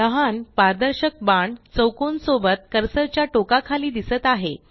लहान पारदर्शक बाण चौकोन सोबत कर्सर च्या टोका खाली दिसत आहे